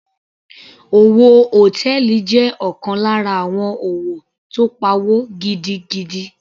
Òwò hòtẹ́ẹ̀lì jẹ́ ọ̀kan lára àwọn òwò tó pawó gidigidi.